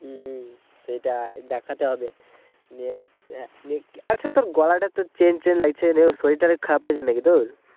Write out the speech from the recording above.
সেটাই দেখাতে হবে আচ্ছা তোর গলাটা এত চেঞ্জ চেঞ্জ লাগছে যে সরির ঠরিল খারাপ হইছে নাকি তোর